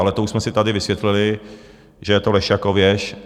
Ale to už jsme si tady vysvětlili, že je to lež jako věž.